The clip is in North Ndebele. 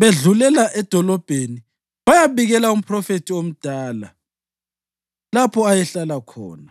bedlulela edolobheni bayabikela umphrofethi omdala lapho ayehlala khona.